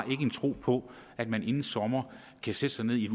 en tro på at man inden sommer kan sætte sig ned i et